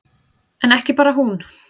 En ekki bara hún.